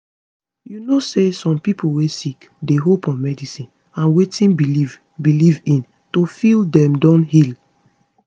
you know say some pipo wey sick dey hope on medicine and wetin belief belief in to feel dem don heal